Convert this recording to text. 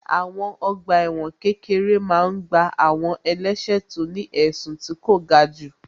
Àwọn ọgbà ẹ̀wọ̀n kékeré máa n gbá àwọn ẹlẹ́sẹ̀ tó ní ẹ̀sùn tí kò ga jù